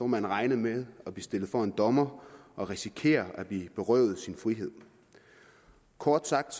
man regne med at blive stillet for en dommer og risikere at blive berøvet sin frihed kort sagt